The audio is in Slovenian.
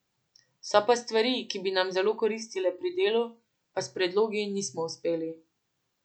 So pa stvari, ki bi nam zelo koristile pri delu, pa s predlogi nismo uspeli.